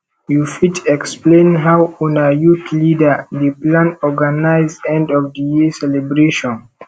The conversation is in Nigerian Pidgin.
you fit explain how una youth leader dey plan organize end of the year celebration